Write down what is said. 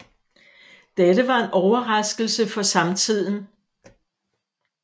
Dette var en overraskelse for samtiden